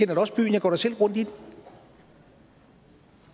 da også byen jeg går da selv rundt i den